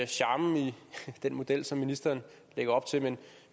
charmen i den model som ministeren lægger op til men